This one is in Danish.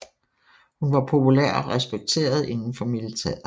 Hun var populær og respekteret indenfor militæret